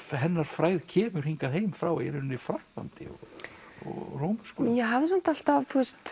hennar frægð kemur hingað heim frá Frakklandi og Róm ég hafði samt alltaf